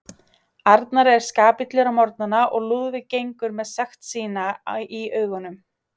Arnar er skapillur á morgnana og Lúðvík gengur með sekt sína í augunum.